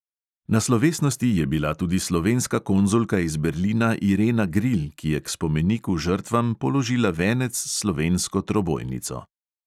Na slovesnosti je bila tudi slovenska konzulka iz berlina irena grilj, ki je k spomeniku žrtvam položila venec s slovensko trobojnico.